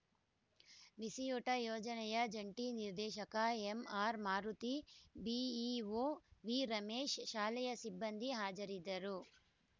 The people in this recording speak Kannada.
ಬಿಸಿಯೂಟ ಯೋಜನೆಯ ಜಂಟಿ ನಿರ್ದೇಶಕ ಎಂಆರ್‌ಮಾರುತಿ ಬಿಇಒ ವಿರಮೇಶ್‌ ಶಾಲೆಯ ಸಿಬ್ಬಂದಿ ಹಾಜರಿದ್ದರು